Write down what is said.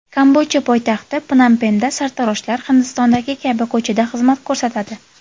Kambodja poytaxti Pnompenda sartaroshlar, Hindistondagi kabi, ko‘chada xizmat ko‘rsatadi.